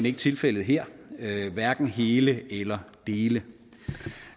ikke tilfældet her hverken hele eller dele